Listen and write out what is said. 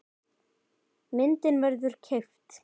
Myndin verður keypt.